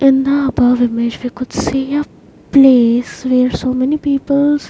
In the above image we could see a place where so many people's --